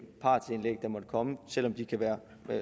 partsindlæg der måtte komme selv om de kan være